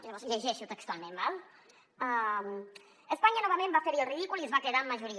llavors llegeixo textualment d’acord espanya novament va fer hi el ridícul i es va quedar amb majoria